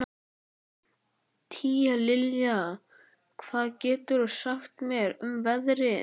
Tíalilja, hvað geturðu sagt mér um veðrið?